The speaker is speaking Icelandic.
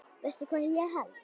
Veistu hvað ég held.